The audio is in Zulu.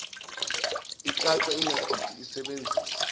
icace ingadidi isebenzise